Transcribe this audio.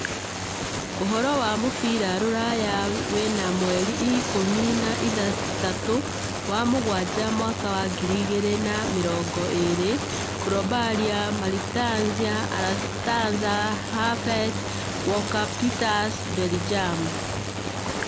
Ũhoro wa mũbira rũraya wena mweri ikũmi na ithathatũ wa-mũgwanja Mwaka wa ngiri igĩrĩ na mĩrongo ĩĩrĩ: Koulibaly, Martinez, Alcantara, Havertz, Walker-Peters, Bellingham